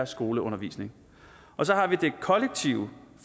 skoleundervisning og så har vi det kollektive